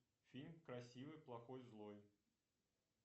фильм красивый плохой злой